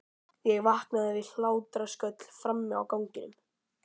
Ég vaknaði við hlátrasköll frammi á ganginum.